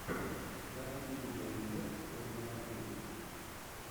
найти видеорецепт ольги матвей